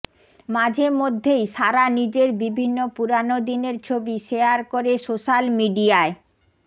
মাঝে মধ্যেই সারা নিজের বিভিন্ন পুরোনো দিনের ছবি শেয়ার করে সোশ্যাল মিডিয়ায়